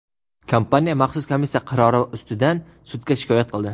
kompaniya maxsus komissiya qarori ustidan sudga shikoyat qildi.